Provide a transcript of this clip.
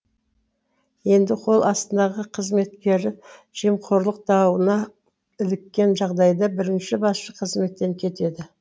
енді қол астындағы қызметкері жемқорлық дауына іліккен жағдайда бірінші басшы қызметтен кетеді